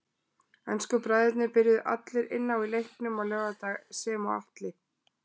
Ensku bræðurnir byrjuðu allir inn á í leiknum á laugardag sem og Atli.